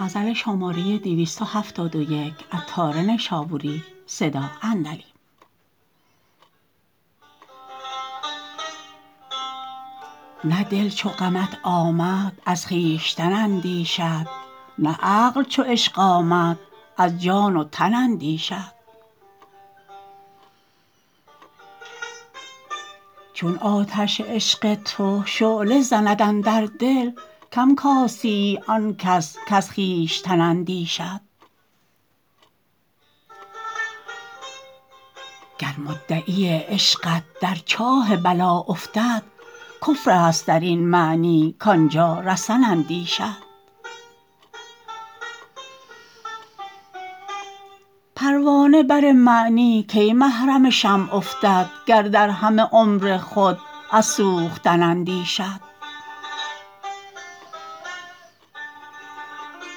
نه دل چو غمت آمد از خویشتن اندیشد نه عقل چو عشق آمد از جان و تن اندیشد چون آتش عشق تو شعله زند اندر دل کم کاستیی آن کس کز خویشتن اندیشد گر مدعی عشقت در چاه بلا افتد کفر است درین معنی کانجا رسن اندیشد پروانه بر معنی کی محرم شمع افتد گر در همه عمر خود از سوختن اندیشد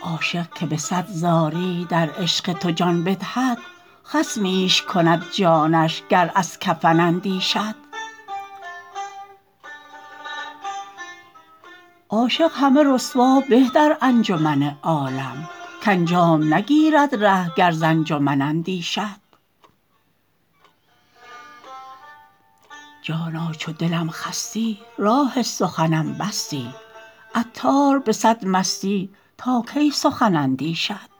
عاشق که به صد زاری در عشق تو جان بدهد خصمیش کند جانش گر از کفن اندیشد عاشق همه رسوا به در انجمن عالم کانجام نگیرد ره گر ز انجمن اندیشد جانا چو دلم خستی راه سخنم بستی عطار به صد مستی تا کی سخن اندیشد